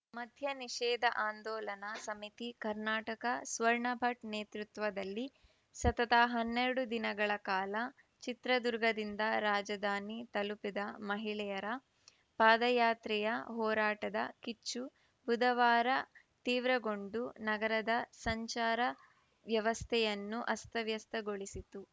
ಮದ್ಯ ನಿಷೇಧ ಆಂದೋಲನ ಸಮಿತಿ ಕರ್ನಾಟಕ ಸ್ವರ್ಣ ಭಟ್‌ ನೇತೃತ್ವದಲ್ಲಿ ಸತತ ಹನ್ನೆರಡು ದಿನಗಳ ಕಾಲ ಚಿತ್ರದುರ್ಗದಿಂದ ರಾಜಧಾನಿ ತಲುಪಿದ್ದ ಮಹಿಳೆಯರ ಪಾದಯಾತ್ರೆಯ ಹೋರಾಟದ ಕಿಚ್ಚು ಬುಧವಾರ ತೀವ್ರಗೊಂಡು ನಗರದ ಸಂಚಾರ ವ್ಯವಸ್ಥೆಯನ್ನು ಅಸ್ತವ್ಯಸ್ತಗೊಳಿಸಿತು